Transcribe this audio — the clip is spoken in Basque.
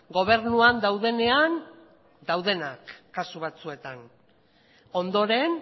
gobernuan daudenean daudenak kasu batzuetan ondoren